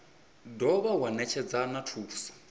dovha wa netshedza na thuso